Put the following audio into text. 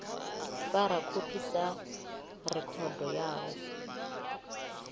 fara khophi sa rekhodo yawe